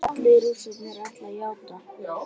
Allir Rússarnir ætla að játa